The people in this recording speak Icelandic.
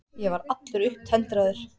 Ég var allur upptendraður.